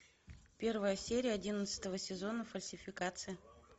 первая серия одиннадцатого сезона фальсификация